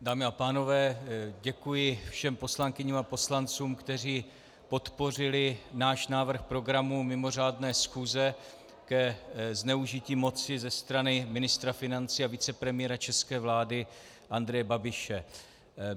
Dámy a pánové, děkuji všem poslankyním a poslancům, kteří podpořili náš návrh programu mimořádné schůze ke zneužití moci ze strany ministra financí a vicepremiéra české vlády Andreje Babiše.